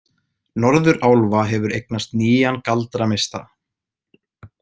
Norðurálfa hefur eignast nýjan galdrameistara.